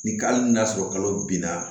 Ni hali n'a sɔrɔ kalo binna